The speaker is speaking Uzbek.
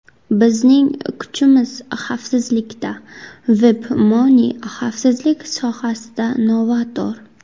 Bizning kuchimiz xavfsizlikda WebMoney xavfsizlik sohasida novator.